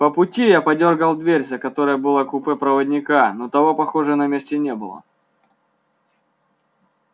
по пути я подёргал дверь за которой было купе проводника но того похоже на месте не было